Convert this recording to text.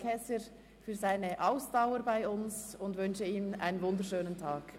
Käser für seinen Aufenthalt bei uns und wünsche ihm einen schönen Tag.